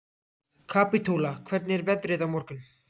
Kapítóla, hvernig er veðrið á morgun?